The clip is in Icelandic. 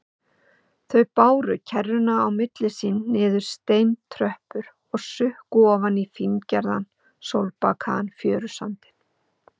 Þau báru kerruna á milli sín niður steintröppur og sukku ofan í fíngerðan, sólbakaðan fjörusandinn.